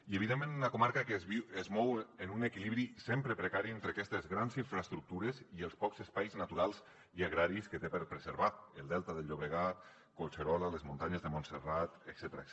i evidentment una comarca que es mou en un equilibri sempre precari entre aquestes grans infraestructures i els pocs espais naturals i agraris que té per preservar el delta del llobregat collserola les muntanyes de montserrat etcètera